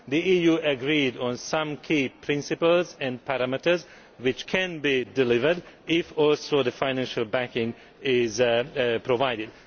The EU agreed on some key principles and parameters which can be delivered if the financial backing is also provided.